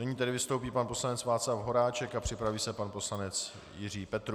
Nyní tedy vystoupí pan poslanec Václav Horáček a připraví se pan poslanec Jiří Petrů.